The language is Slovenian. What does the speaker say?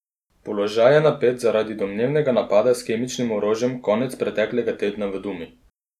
Položaj je napet zaradi domnevnega napada s kemičnim orožjem konec preteklega tedna v Dumi.